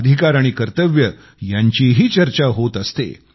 अधिकार आणि कर्तव्य यांचीही चर्चा होत असते